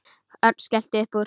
Örn skellti upp úr.